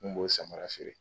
N b'o samara feere.